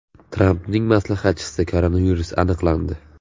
Trampning maslahatchisida koronavirus aniqlandi.